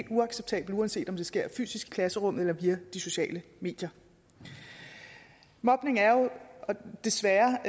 uacceptabelt uanset om det sker fysisk i klasserummet eller via de sociale medier mobning er jo desværre